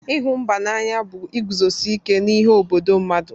Ịhụ mba n'anya bụ iguzosi ike n'ihe obodo mmadụ.